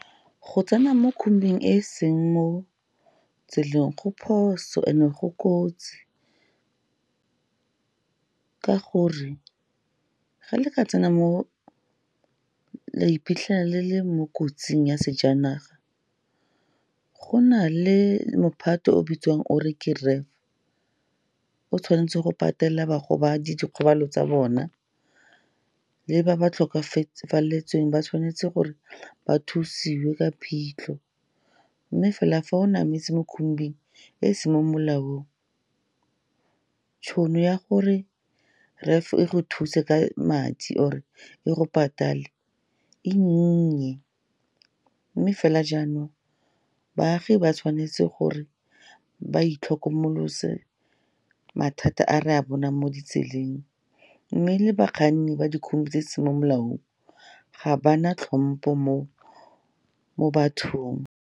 Go tsena mo khombing e seng mo tseleng go phoso and-e go kotsi, ka gore ga le ka tsena mo, la iphitlhela le le mo kotsing ya sejanaga, go na le mophato o bitsiwang o re ke RAF, o tshwanetse go patela bagobadi dikgobalo tsa bona, le ba ba tlhokafaletsweng ba tshwanetse gore ba thusiwe ke phitlho. Mme fela fa o nametsa mo khombing e seng mo molaong, tšhono ya gore RAF e go thuse ka madi or-e e go patale e nnye. Mme fela jaanong, baagi ba tshwanetse gore ba itlhokomolose mathata a re a bonang mo ditseleng. Mme le bakganni ba dikhombi tse seng mo molaong ga ba na tlhompo mo bathong.